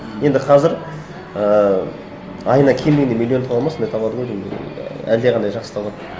енді қазір ыыы айына кем дегенде миллион табады ма сондай табады ғой деймін әлдеқайда жақсы табады